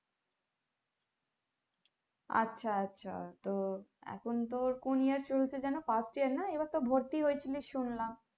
আচ্ছা আচ্ছা তো এখন তোর কোন year চলছে যেন fast year না এবার তো ভর্তি হয়েছিলিস শুনলাম